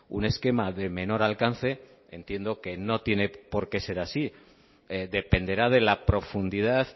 un esquema de menor alcance entiendo que no tiene por qué ser así dependerá de la profundidad